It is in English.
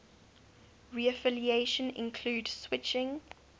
reaffiliation include switching